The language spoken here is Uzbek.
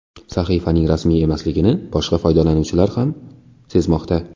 Sahifaning rasmiy emasligini boshqa foydalanuvchilar ham sezmoqda.